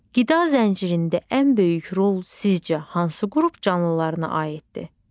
Qida zəncirində ən böyük rol sizcə hansı qrup canlılarına aiddir?